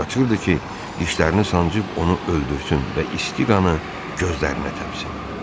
Qaçırırdı ki, dişlərini sancıb onu öldürsün və isti qanı gözlərinə təpsin.